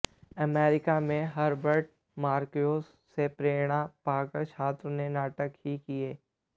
America में Herbert Marcuse से प्रेरणा पाकर छात्रों ने नाटक ही किए